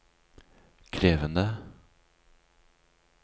krevende